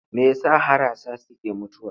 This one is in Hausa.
Me ya sa harasa suke mutuwa?